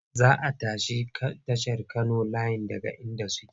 Za a tashi tashar Kano layin daga inda suke.